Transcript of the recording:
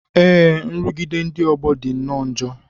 Ee, nrụgide ndị ọgbọ dị nnọọ njọ